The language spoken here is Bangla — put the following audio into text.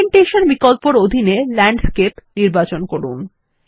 ওরিয়েন্টেশন বিকল্পর অধীনে ল্যান্ডস্কেপ নির্বাচন করুন